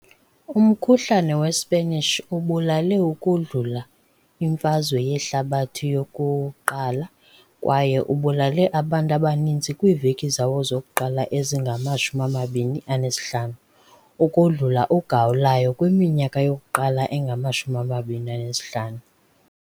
Umkhuhlane weSpanish ubulale ukodlula iMfazwe yeHlabathi yoku-1 kwaye ubulale abantu abaninzi kwiiveki zawo zokuqala ezingama-25 ukodlula uGawulayo kwiminyaka yokuqala engama-25.